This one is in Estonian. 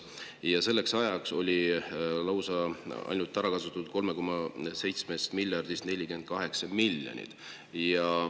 Ja selleks ajaks oli 3,7 miljardist eurost ära kasutatud ainult 48 miljonit eurot.